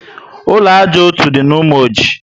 Ụlọ ájá ọtọ dị na Umoji